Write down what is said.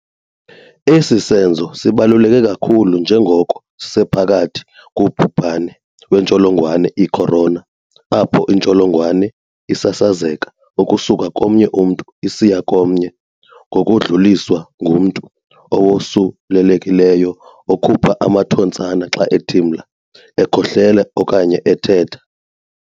Esi senzo sibaluleke kakhulu njengoko sisephakathi kubhubhane wentsholongwane i-Corona apho intsholongwane isasazeka ukusuka komnye umntu isiya komnye ngokudluliswa ngumntu owosulelekileyo okhupha amathontsana xa ethimla, ekhohlela okanye ethetha.